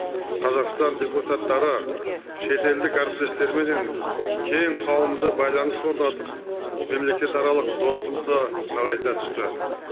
қазақстан депутаттары шетелдік әріптестерменен кең қауымды байланыс орнатып мемлекетаралық достықты нығайта түсті